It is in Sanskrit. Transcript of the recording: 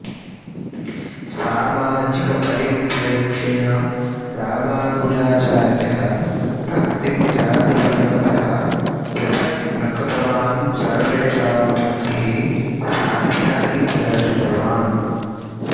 सामाजिकपरिप्रेक्ष्येण रामानुजाचार्यः भक्तिं जातिवर्गतः पृथक् न कृतवान् सर्वेषां भक्तिः साध्या इति दर्शितवान्